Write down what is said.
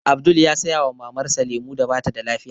Abdul ya saya wa Mamar sa lemu da batada lafiya